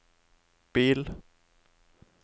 bil